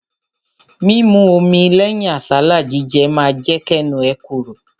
Mímu omi lẹ́yìn àsálà jíjẹ ma jẹ́ kẹ́nu ẹ korò.